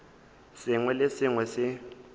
sengwe le se sengwe se